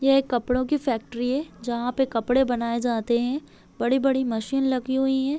ये एक कपड़ों की फैक्ट्री है जहाँ पे कपड़े बनाये जाते है बड़ी-बड़ी मशीन लगी हुई है।